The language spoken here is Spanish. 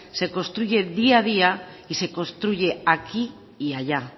se construye día a día y se construye aquí y allá